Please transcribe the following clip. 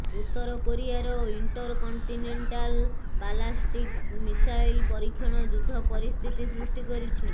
ଉତ୍ତରକୋରିଆର intercontinental ballistic missile ପରୀକ୍ଷଣ ଯୁଦ୍ଧ ପରିସ୍ଥିତି ସୃଷ୍ଟି କରିଛି